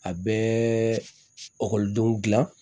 A bɛɛ gilan